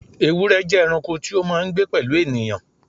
Ewúrẹ́ jẹ́ ẹranko tí ó máa ń gbé pẹ̀lú ènìyàn.